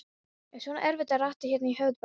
Er svona erfitt að rata hérna í höfuðborginni?